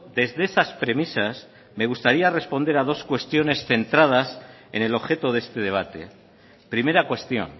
desde esas premisas me gustaría responder a dos cuestiones centradas en el objeto de este debate primera cuestión